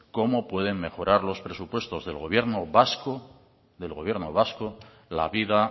cómo pueden mejorar los presupuestos del gobierno vasco del gobierno vasco la vida